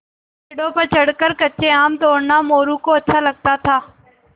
पेड़ों पर चढ़कर कच्चे आम तोड़ना मोरू को अच्छा लगता था